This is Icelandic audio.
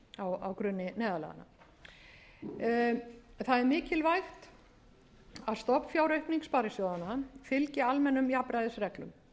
á grunni neyðarlaganna það er mikilvægt að stofnfjáraukning sparisjóðanna fylgi almennum jafnræðisreglum